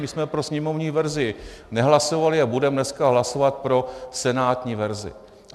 My jsme pro sněmovní verzi nehlasovali a budeme dneska hlasovat pro senátní verzi.